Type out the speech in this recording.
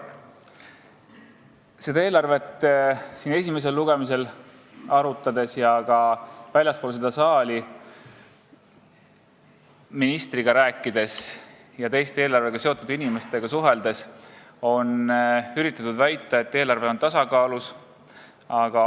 Kui me seda eelarvet siin esimesel lugemisel arutasime ja ka väljaspool seda saali ministriga rääkisime ja teistegi eelarvega seotud inimestega suhtlesime, üritasid nad väita, et eelarve on tasakaalus.